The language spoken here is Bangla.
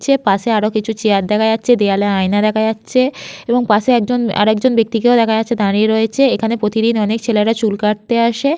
পাশে আরো কিছু চেয়ার দেখা যাচ্ছেদেওয়ালে আয়না দেখা যাচ্ছে এবং পাশে একজন আরেকজন ব্যক্তি কেও দেখা যাচ্ছে দাঁড়িয়ে রয়েছে এখানে প্রতিদিন অনেক ছেলেরা চুল কাটতে আসে।